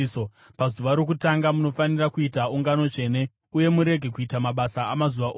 Pazuva rokutanga munofanira kuita ungano tsvene uye murege kuita mabasa amazuva ose.